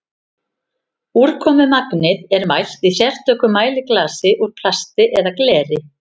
úrkomumagnið er mælt í sérstöku mæliglasi úr plasti eða gleri